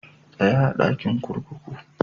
Tsaya a'dakin kurkukun ku!